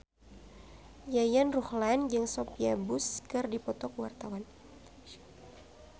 Yayan Ruhlan jeung Sophia Bush keur dipoto ku wartawan